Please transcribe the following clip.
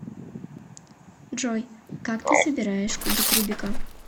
джой как ты собираешь кубик рубика